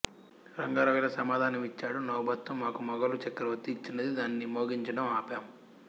రంగారావు ఇలా సమాధానమిచ్చాడు నౌబత్తు మాకు మొగలు చక్రవర్తి ఇచ్చినది దాన్ని మోగించడం ఆపం